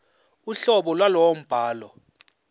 uhlobo lwalowo mbhalo